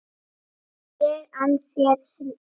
ég ann þér fyrir því.